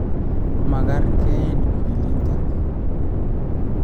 Makarar keing kwiliintet